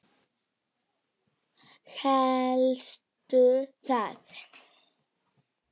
Hélstu það?